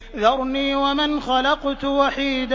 ذَرْنِي وَمَنْ خَلَقْتُ وَحِيدًا